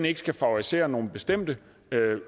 ikke skal favorisere nogle bestemte